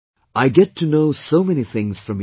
I get to know so many things from you